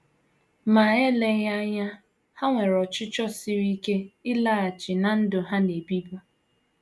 Ma eleghị anya, ha nwere ọchịchọ siri ike ịlaghachi ná ndụ ha “ na - ebibu. ”